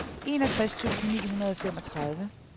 enogtres tusind ni hundrede og femogtredive